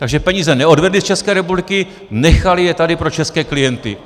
Takže peníze neodvedly z České republiky, nechaly je tady pro české klienty.